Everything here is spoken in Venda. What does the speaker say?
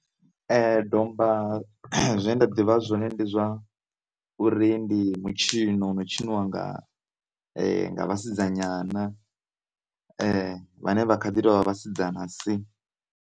Domba zwine nda ḓivha zwone ndi zwa uri ndi mutshino wo no tshiniwa nga nga vhasidzanyana vhane vha kha ḓi tovha vhasidzana si.